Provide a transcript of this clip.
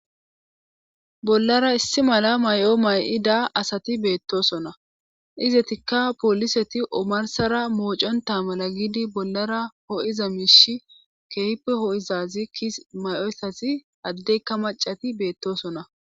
bollara issi mala may7o may7i daa asati beettosona izetikka pooliseti omarsara mooconta mala giidi bollara hoo7iza miishi keehippe ho7izazi ki may7o essasi addeykka macati beettosona